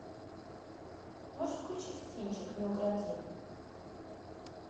можешь включить кинчик не укради